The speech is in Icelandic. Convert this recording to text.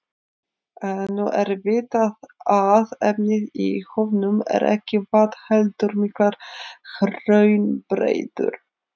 Nú er vitað að efnið í höfunum er ekki vatn heldur miklar hraunbreiður.